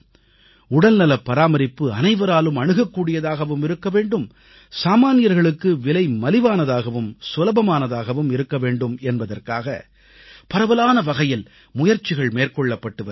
உடல்நல பராமரிப்பு அனைவராலும் அணுகக்கூடியதாகவும் இருக்க வேண்டும் சாமான்யர்களுக்கு விலை மலிவானதாகவும் சுலபமானதாகவும் இருக்க வேண்டும் என்பதற்காக பரவலான வகையில் முயற்சிகள் மேற்கொள்ளப்பட்டு வருகின்றன